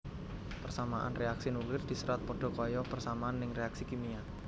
Persamaan reaksi nuklir diserat padha kaya persamaan ning reaksi kimia